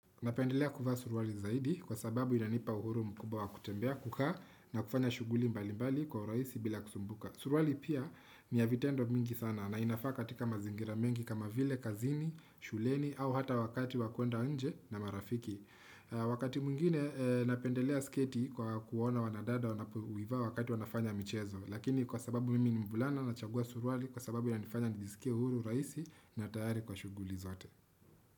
Napendelea kuvaa suruwali zaidi kwa sababu inanipa uhuru mkubawa kutembea kukaa na kufanya shuguli mbali mbali kwa uraisi bila kusumbuka. Suruwali pia ni ya vitendo mingi sana na inafaa katika mazingira mengi kama vile kazini, shuleni au hata wakati wa kwenda nje na marafiki. Wakati mwingine napendelea sketi kwa kuona wanadada wanapoivaa wakati wanafanya michezo. Lakini kwa sababu mimi nivbulana na chagua suruwali kwa sababu inanifanya nijisikia uhuru uraisi na tayari kwa shuguli zote.